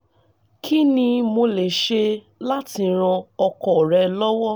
kí ni mo lè ṣe láti ran ọkọ rẹ̀ lọ́wọ́?